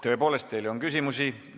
Tõepoolest teile on küsimusi.